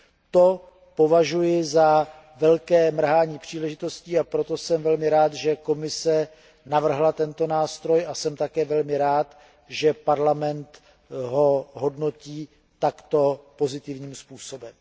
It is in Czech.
To považuji za velké mrhání příležitostí, a proto jsem velmi rád, že Komise navrhla tento nástroj a jsem také velmi rád, že Parlament ho hodnotí takto pozitivním způsobem.